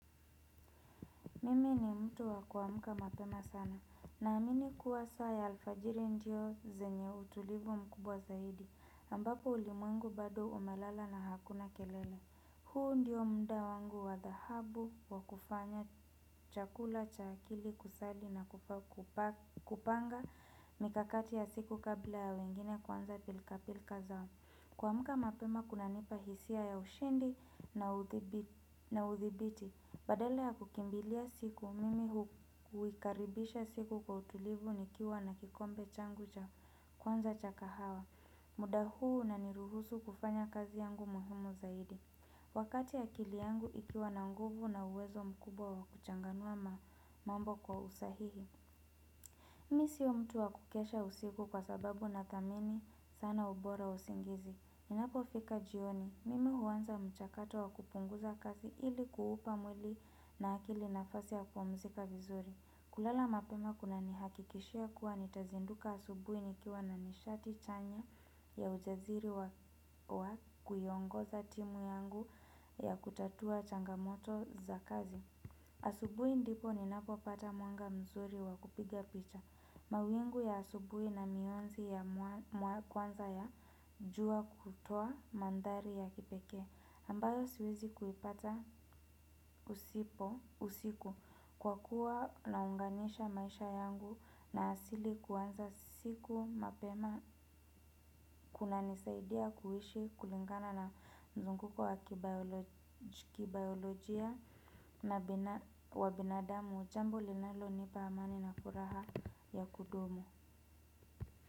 Mimi ni mtu wa kuamka mapema sana naamini kuwa saa ya alfajiri ndio zenye utulivu mkubwa zaidi ambapo ulimwengu bado umelala na hakuna kelele. Huu ndio mda wangu wa dhahabu wa kufanya chakula cha akili kusali na kupanga mikakati ya siku kabla ya wengine kuanza pilka pilka za siku. Kuamka mapema kunanipa hisia ya ushindi na uthibiti. Badala ya kukimbilia siku, mimi huikaribisha siku kwa utulivu nikiwa na kikombe changu cha kwanza cha kahawa. Muda huu unaniruhusu kufanya kazi yangu muhumu zaidi. Wakati akili yangu ikiwa na nguvu na uwezo mkubwa wa kuchanganua mambo kwa usahihi. Mi siyo mtu wa kukesha usiku kwa sababu nathamini sana ubora wa usingizi. Ninapofika jioni, mimi huanza mchakato wa kupunguza kazi ili kuupa mwili na akili nafasi ya kupumzika vizuri. Kulala mapema kunanihakikishia kuwa nitazinduka asubui nikiwa na nishati chanya ya ujaziri wa kuiongoza timu yangu ya kutatua changamoto za kazi. Asubui ndipo ninapopata mwanga mzuri wa kupiga picha. Mawingu ya asubui na mionzi ya kwanza ya jua kutoa manthari ya kipekee ambayo siwezi kuipata usipo usiku kwa kuwa naunganisha maisha yangu na asili kuanza siku mapema. Kunanisaidia kuishi kulingana na mzunguko wa kibayolojia na wa binadamu. Jambo linalonipa amani na furaha ya kudumu.